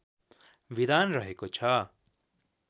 विधान रहेको छ